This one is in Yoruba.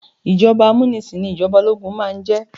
Ìjọba amúnisìn ní ìjọba ológun máà ń jẹ́.